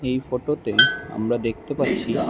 এই ফটোতে আমরা দেখতে পাচ্ছি--